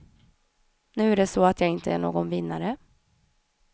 Nu är det så att jag inte är någon vinnare.